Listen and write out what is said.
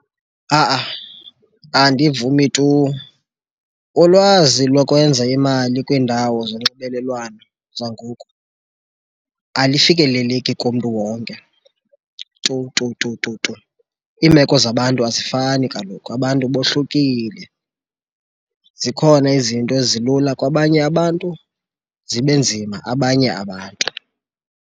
Andivumi tu. Ulwazi lokwenza imali kwiindawo zonxibelelwano zangoku alifikeleleki kumntu wonke tu tu tu tu tu. Iimeko zabantu azifani kaloku, abantu bohlukile. Zikhona izinto ezilula kwabanye abantu, zibe nzima abanye abantu.